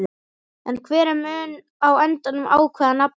En hver mun á endanum ákveða nafnið?